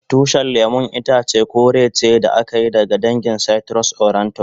Tushin lemun itace kore ce da aka yi daga dangin citrus aurantum.